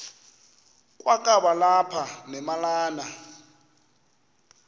kwakaba lapha nemalana